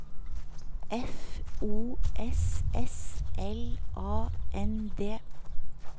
F O S S L A N D